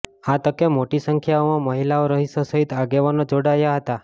આ તકે મોટી સંખ્યામાં મહિલાઓ રહીશો સહીત આગેવાનો જોડાયા હતા